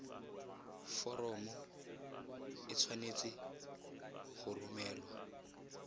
foromo e tshwanetse go romelwa